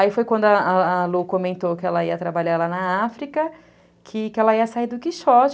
Aí foi quando a a Lu comentou que ela ia trabalhar lá na África, que ela ia sair do Quixote.